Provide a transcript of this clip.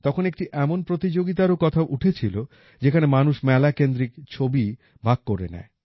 তখন একটি এমন প্রতিযোগিতারও কথা উঠেছিল যেখানে মানুষ মেলা কেন্দ্রিক ছবি ভাগ করে নেয়